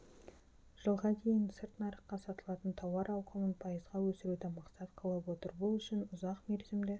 жылға дейін сырт нарыққа сатылатын тауар ауқымын пайызға өсіруді мақсат қылып отыр бұл үшін ұзақмерзімді